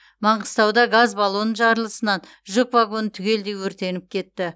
маңғыстауда газ баллоны жарылысынан жүк вагоны түгелдей өртеніп кетті